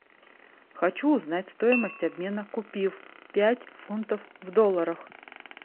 хочу узнать стоимость обмена купив пять фунтов в долларах